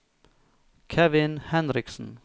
Kevin Henriksen